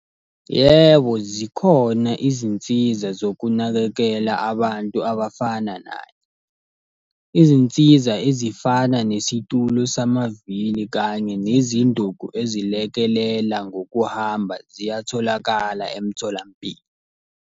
Yebo zikhona izinsiza zokunakekela abantu abafana naye. Izinsiza ezifana nesitulo samavili kanye nezinduku ezilekelela ngokuhamba ziyatholakala emtholampilo.